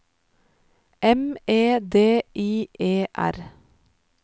M E D I E R